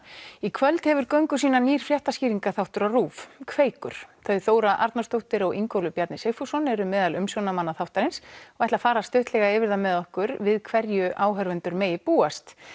í kvöld hefur göngu sína nýr fréttaskýringaþáttur á RÚV Kveikur þau Þóra Arnórsdóttir og Ingólfur Bjarni Sigfússon eru meðal umsjónarmanna þáttarins og ætla að fara stuttlega yfir það með okkur við hverju áhorfendur megi búast